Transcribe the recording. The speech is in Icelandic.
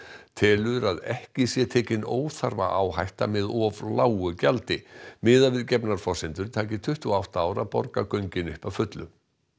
telur að ekki sé tekin óþarfa áhætta með of lágu gjaldi miðað við gefnar forsendur taki tuttugu og átta ár að borga göngin upp að fullu